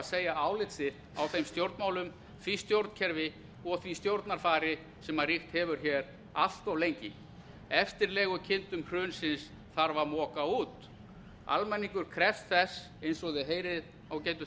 segja álit sitt á þeim stjórnmálum því stjórnkerfi og því stjórnarfari sem ríkt hefur hér allt of lengi eftirlegukindum hrunsins þarf að moka út almenningur krefst þess eins og þið heyrið ágætu